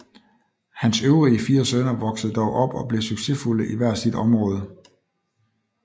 Hans øvrige fire sønner voksede dog op og blev succesfulde i hver sit område